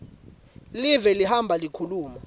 live lihamba likhuluma